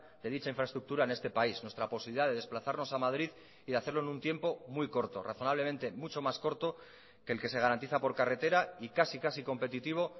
de dicha infraestructura en este país nuestra posibilidad de desplazarnos a madrid y de hacerlo en un tiempo muy corto razonablemente mucho más corto que el que se garantiza por carretera y casi casi competitivo